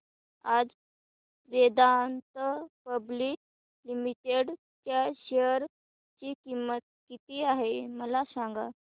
आज Vedanta public limited च्या share ची किंमत किती आहे मला सांगा